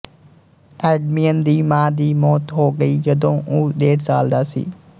ਐਡਮਿਅਨ ਦੀ ਮਾਂ ਦੀ ਮੌਤ ਹੋ ਗਈ ਜਦੋਂ ਉਹ ਡੇਢ ਸਾਲ ਦਾ ਸੀ